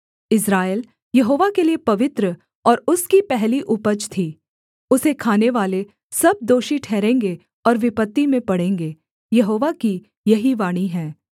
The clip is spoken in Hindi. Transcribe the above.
इस्राएल यहोवा के लिये पवित्र और उसकी पहली उपज थी उसे खानेवाले सब दोषी ठहरेंगे और विपत्ति में पड़ेंगे यहोवा की यही वाणी है